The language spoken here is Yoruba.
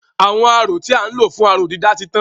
Àwọn aró tí à ń lò fún aró-dídà ti tán.